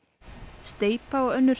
steypa og önnur